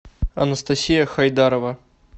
анастасия хайдарова